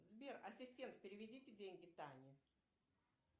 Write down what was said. сбер ассистент переведите деньги тане